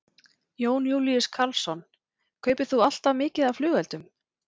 Jón Júlíus Karlsson: Kaupir þú alltaf mikið af flugeldum?